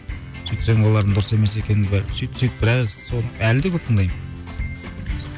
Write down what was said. сөйтсем олардың дұрыс емес екенін сөйтсек біраз соны әлі де көп тыңдаймын